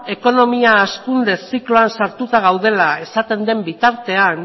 ekonomia hazkunde zikloan sartuta gaudela esaten den bitartean